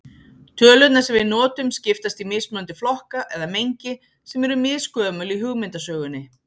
Tölurnar sem við notum skiptast í mismunandi flokka eða mengi sem eru misgömul í hugmyndasögunni.